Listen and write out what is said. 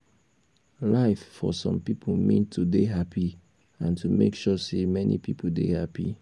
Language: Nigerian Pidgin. life for some pipo mean to dey happy and to make sure sey many pipo dey happy